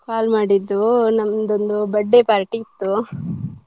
Call ಮಾಡಿದ್ದು ನಂದೊಂದು birthday party ಇತ್ತು .